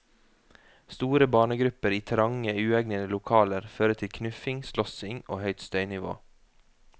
Store barnegrupper i trange, uegnede lokaler fører til knuffing, slåssing og høyt støynivå.